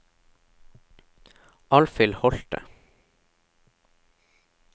Alfhild Holte